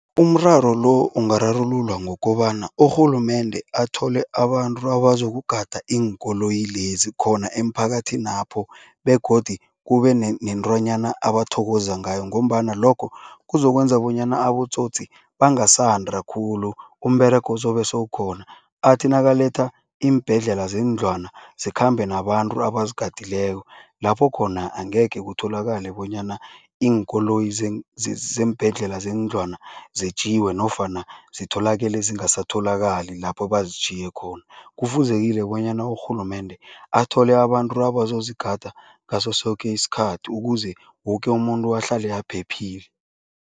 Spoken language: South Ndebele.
Umraro lo ungararululwa ngokobana urhulumende athole abantu abazokugada iinkoloyi lezi khona emiphakathinapho begodi kube nentwanyana abathokoza ngayo ngombana lokho kuzokwenza bonyana abotsotsi bangasandi khulu, umberego uzobe sewukhona. Athi nakaletha iimbhedlela zeendlwana zikhambe nabantu abazigadileko, lapho khona angekhe kutholakale bonyana iinkoloyi zeembhedlela zeendlwana zetjiwe nofana zitholakele zingasatholakali lapho bazitjhiye khona. Kufuzekile bonyana urhulumende athole abantu abazozigada ngaso soke isikhathi ukuze woke umuntu ahlale aphephile.